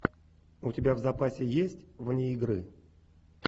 у тебя в запасе есть вне игры